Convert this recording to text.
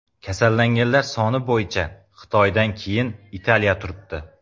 Kasallanganlar soni bo‘yicha Xitoydan keyin Italiya turibdi.